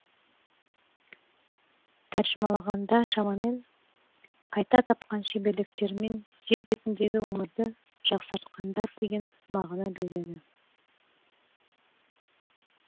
тәржімалағанда шамамен қайта тапқан шеберліктерімен жер бетіндегі өмірді жақсартқандар деген мағына береді